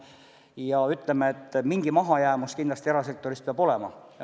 Ja, ütleme, et mingi mahajäämus erasektorist kindlasti peab olema.